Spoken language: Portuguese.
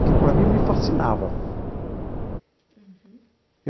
Aquilo, para mim, me fascinava.